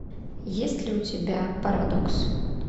есть ли у тебя парадокс